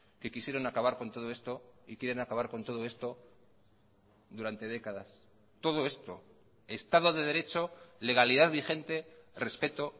que quisieron acabar con todo esto y quieren acabar con todo esto durante décadas todo esto estado de derecho legalidad vigente respeto